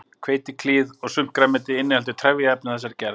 Hveitiklíð og sumt grænmeti inniheldur trefjaefni af þessari gerð.